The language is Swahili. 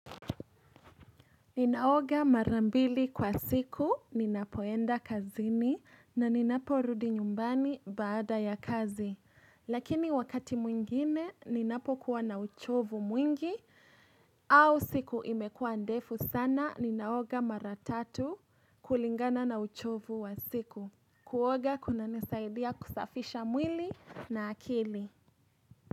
Ninaoga mara mbili kwa siku, ninapoenda kazini na ninaporudi nyumbani baada ya kazi. Lakini wakati mwingine, ninapo kuwa na uchovu mwingi au siku imekuwa ndefu sana, ninaoga mara tatu kulingana na uchovu wa siku. Kuoga kunanisaidia kusafisha mwili na akili.